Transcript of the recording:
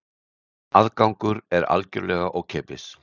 Aðgangur er algjörlega ókeypis